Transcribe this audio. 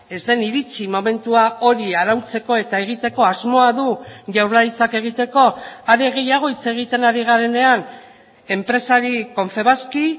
ez den iritsi momentua hori arautzeko eta egiteko asmoa du jaurlaritzak egiteko are gehiago hitz egiten ari garenean enpresari confebaski